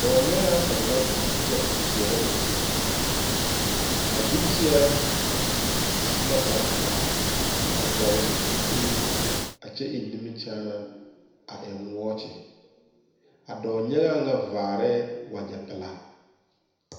Dɔɔ nyɛŋaa kaŋ la a zeŋ a kyɛ kyɛre o zu, a zu kyɛre su la kpare pelaa a vɔgle zupelee a kyɛ eŋ nimikyaanaa a eŋ wɔɔkyi a dɔɔnyɛŋaa nyɛ varɛ wagye pelaa.